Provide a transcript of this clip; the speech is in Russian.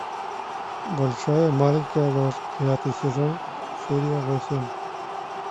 большая маленькая ложь девятый сезон серия восемь